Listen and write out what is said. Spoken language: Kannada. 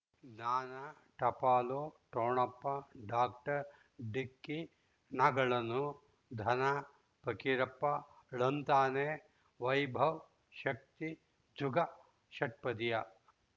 ಜ್ಞಾನ ಟಪಾಲು ಠೊಣಪ ಡಾಕ್ಟರ್ ಢಿಕ್ಕಿ ಣಗಳನು ಧನ ಫಕೀರಪ್ಪ ಳಂತಾನೆ ವೈಭವ್ ಶಕ್ತಿ ಜುಗಾ ಷಟ್ಪದಿಯ